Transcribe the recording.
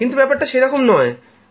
কিন্তু ব্যাপারটা সেরকম নয়